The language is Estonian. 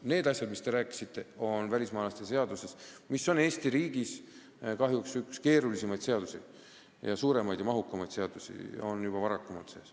Need asjad, millest teie rääkisite, on välismaalaste seaduses, mis on Eesti kahjuks üks keerulisemaid, suuremaid ja mahukamaid seadusi, juba varasemast ajast sees.